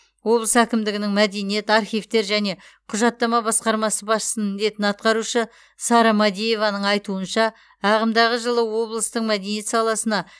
облыс әкімдігінің мәдениет архивтер және құжаттама басқармасы басшысының міндетін атқарушы сара мәдиеваның айтуынша ағымдағы жылы облыстың мәдениет саласына